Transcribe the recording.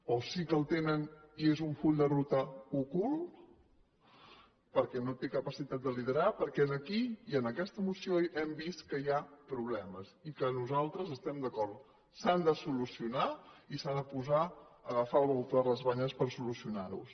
o sí que el tenen i és un full de ruta ocult perquè no té capacitat de liderar perquè aquí i en aquesta moció hem vist que hi ha problemes i que nosaltres hi estem d’acord s’han de solucionar i s’ha d’agafar el bou per les banyes per solucionar los